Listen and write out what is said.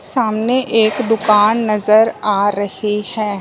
सामने एक दुकान नज़र आ रही है।